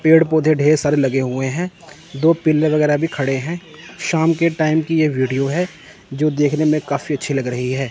पेड़ पौधे ढेर सारे लगे हुए हैं दो पिलर वगैरह भी खड़े हैं शाम के टाइम की ये वीडियो है जो देखने में काफी अच्छी लग रही है।